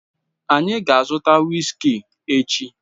Anyị ga-azụta whiskey echi